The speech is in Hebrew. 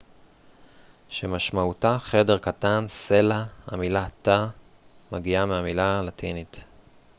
המילה תא מגיעה מהמילה הלטינית cella שמשמעותה חדר קטן